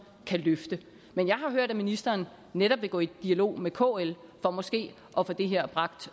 kan løfte men jeg har hørt at ministeren netop vil gå i dialog med kl for måske at få det her bragt